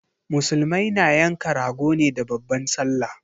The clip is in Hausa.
Musulmai na yanka rago ne da babban sallah